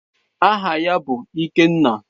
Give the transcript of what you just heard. Aha ya bụ Ikenna.